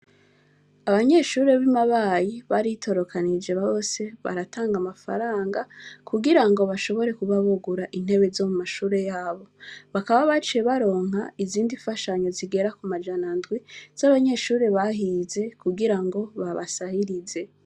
Abanyeshure b'i Mabayi baritororokanije bose baratanga amafaranga, kugira ngo bashobore kuba bogura intebe zo mu mashure y'abo. Bakaba baciye baronka izindi mfashanyo zigera ku majana indwi z'abanyeshure bahize, kugira ngo babasahirize.